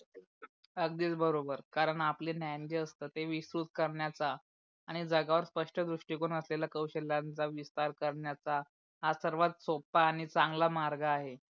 अगदीच बरोबर, कारण आपल ज्ञान जे असते ते विश्रुत करण्याच्या आणि जगावर स्पष्ट दृष्टिकोन असलेल्या कौशल्यांच्या विस्तार करण्याच्या हा सर्वात सोपा आणि चांगला मार्ग आहे.